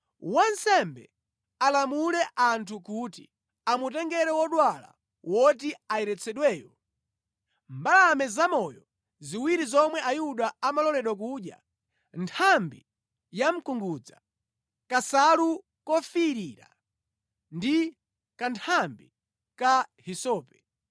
wansembe alamule anthu kuti amutengere wodwala woti ayeretsedweyo, mbalame zamoyo ziwiri zomwe Ayuda amaloledwa kudya, nthambi yamkungudza, kansalu kofiirira ndi kanthambi ka hisope.